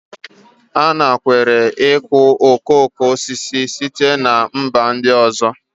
A nakweere ịkụ okoko osisi site na mba ndị ọzọ